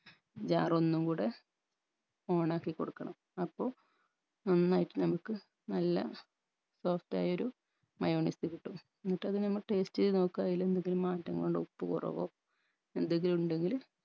jar ഒന്നുംകൂടെ on ആക്കി കൊടുക്കണം അപ്പൊ നന്നായിട്ട് നമ്മക്ക് നല്ല soft ആയൊരു mayonnaise കിട്ടും എന്നിട്ടതിനെ നമ്മള് taste എയ്ത് നോക്കുഅ അയിലെന്തെങ്കിലും മാറ്റങ്ങളുണ്ടോ ഉപ്പ് കുറവോ എന്തെങ്കിലുണ്ടെങ്കില്